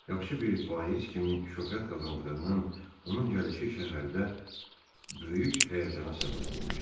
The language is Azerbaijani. Yaxşı bir vaiz kimi şöhrət qazandığından onun gəlişi şəhərdə böyük həyəcana səbəb olmuşdu.